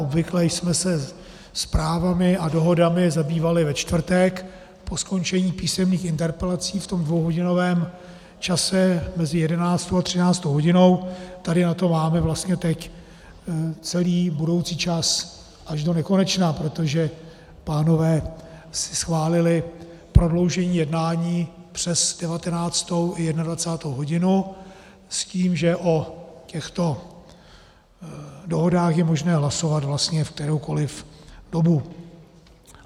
Obvykle jsme se zprávami a dohodami zabývali ve čtvrtek po skončení písemných interpelací v tom dvouhodinovém čase mezi 11. a 13. hodinou, tady na to máme vlastně teď celý budoucí čas až do nekonečna, protože pánové si schválili prodloužení jednání přes 19. i 21. hodinu s tím, že o těchto dohodách je možné hlasovat vlastně v kteroukoli dobu.